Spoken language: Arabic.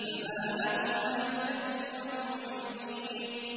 فَمَا لَهُمْ عَنِ التَّذْكِرَةِ مُعْرِضِينَ